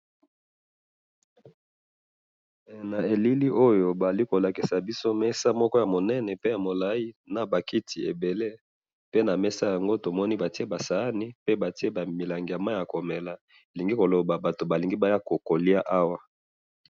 he na elili oyo bazali kolakisa biso mesa moko ya munene pe ya mulayi naba kiti pe ebele pe na mesa yango batiye ba sahani naba verre ebele elingi koloba que batu balingi baya koliya awa.